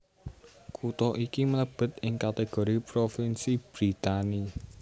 Kutha iki mlébet ing kategori propinsi Brittany